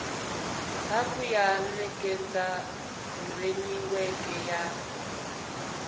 hafhu ya nekedza furemiweke ya